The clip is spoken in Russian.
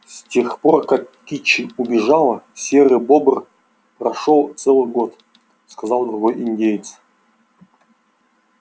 с тех пор как кичи убежала серый бобр прошёл целый год сказал другой индеец